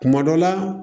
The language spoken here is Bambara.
Kuma dɔ la